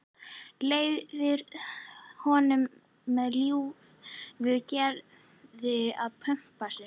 Leyfir honum með ljúfu geði að pumpa sig.